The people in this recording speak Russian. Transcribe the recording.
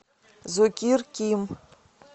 зокир ким